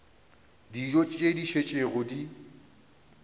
dijo tše di šetšego di